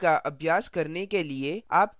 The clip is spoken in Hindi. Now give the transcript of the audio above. इस tutorial का अभ्यास करने के लिए